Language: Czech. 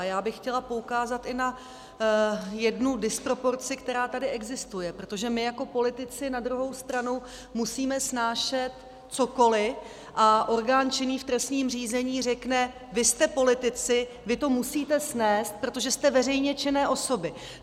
A já bych chtěla poukázat i na jednu disproporci, která tady existuje, protože my jako politici na druhou stranu musíme snášet cokoli a orgán činný v trestním řízení řekne "vy jste politici, vy to musíte snést, protože jste veřejně činné osoby".